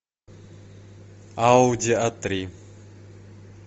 ауди а три